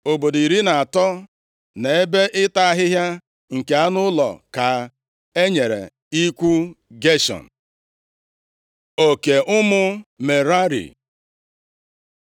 Obodo iri na atọ, na ebe ịta ahịhịa nke anụ ụlọ ka e nyere ikwu Geshọn. Oke ụmụ Merari